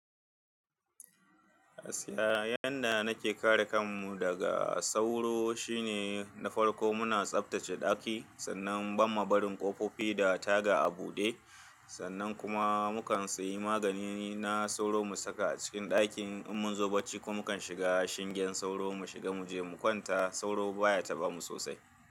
Gaskiya yanda nake kare kanmu daga sauro shine na farko muna tsaftace daki sannan ban ma barin ƙofofi da taga a buɗe. Sannan kuma mu kan sayi magani na sauro mu saka a cikin dakin in mun zo bacci ko mu kan shiga shingen sauro mu shiga mu je mu kwanta sauro baya tabamu sosai.